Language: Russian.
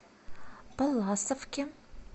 палласовке